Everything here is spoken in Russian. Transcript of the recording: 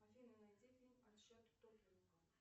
афина найди фильм отсчет